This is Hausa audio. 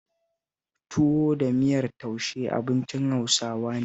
Tuwo da miyar taushe abincin Hausawa ne